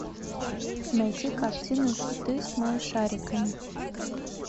найти картину хиты с малышариками